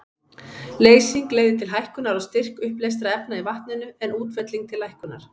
Leysing leiðir til hækkunar á styrk uppleystra efna í vatninu, en útfelling til lækkunar.